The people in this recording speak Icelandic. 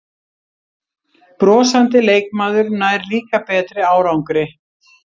Brosandi leikmaður nær líka betri árangri